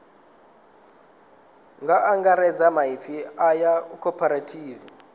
nga angaredza maipfi aya cooperative